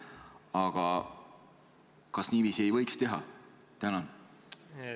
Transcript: Aga kas niiviisi ei võiks teha?